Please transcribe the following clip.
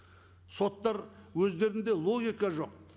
соттар өздерінде логика жоқ